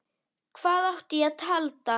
Hvað átti ég að halda?